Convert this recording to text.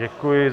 Děkuji.